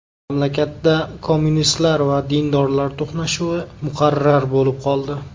Mamlakatda kommunistlar va dindorlar to‘qnashuvi muqarrar bo‘lib qoldi.